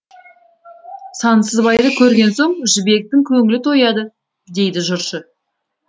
сансызбайды көрген соң жібектің көңілі тояды дейді жыршы